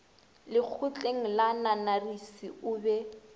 lekgotleng la nanarisi o be